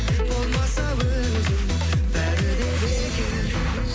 болмаса өзі бәрі де бекер